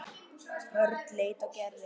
Örn leit á Gerði.